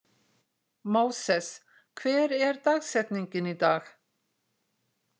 Móses, hver er dagsetningin í dag?